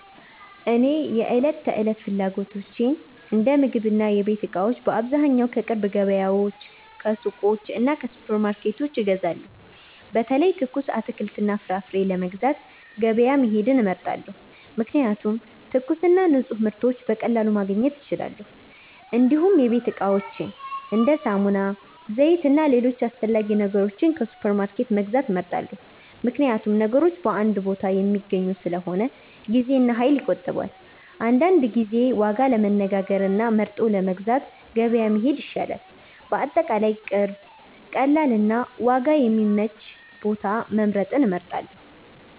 እኔ የዕለት ተዕለት ፍላጎቶቼን እንደ ምግብና የቤት እቃዎች በአብዛኛው ከቅርብ ገበያዎች፣ ከሱቆች እና ከሱፐርማርኬቶች እገዛለሁ። በተለይ ትኩስ አትክልትና ፍራፍሬ ለመግዛት ገበያ መሄድ እመርጣለሁ፣ ምክንያቱም ትኩስና ንፁህ ምርቶች በቀላሉ ማግኘት ይቻላል። እንዲሁም የቤት እቃዎችን እንደ ሳሙና፣ ዘይት እና ሌሎች አስፈላጊ ነገሮች ከሱፐርማርኬት መግዛት እመርጣለሁ፣ ምክንያቱም ነገሮች በአንድ ቦታ የሚገኙ ስለሆነ ጊዜና ኃይል ይቆጠባል። አንዳንድ ጊዜ ዋጋ ለማነጋገር እና ለመርጠው ለመግዛት ገበያ መሄድ ይሻላል። በአጠቃላይ ቅርብ፣ ቀላል እና ዋጋ የሚመች ቦታ መምረጥን እመርጣለሁ።